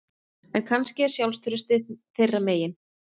En kannski er sjálfstraustið þeirra megin